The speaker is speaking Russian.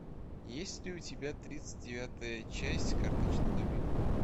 есть ли у тебя тридцать девятая часть карточный домик